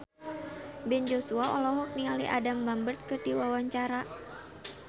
Ben Joshua olohok ningali Adam Lambert keur diwawancara